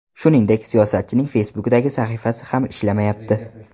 Shuningdek, siyosatchining Facebook’dagi sahifasi ham ishlamayapti.